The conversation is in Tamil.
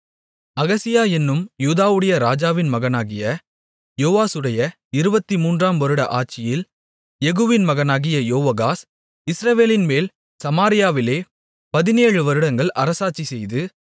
அகசியா என்னும் யூதாவுடைய ராஜாவின் மகனாகிய யோவாசுடைய இருபத்துமூன்றாம் வருட ஆட்சியில் யெகூவின் மகனாகிய யோவாகாஸ் இஸ்ரவேலின்மேல் சமாரியாவிலே பதினேழுவருடங்கள் அரசாட்சிசெய்து